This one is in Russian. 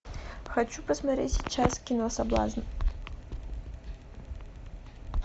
хочу посмотреть сейчас кино соблазн